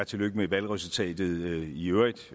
tillykke med valgresultatet i øvrigt